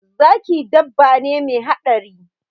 Zaki dabba ne me haɗari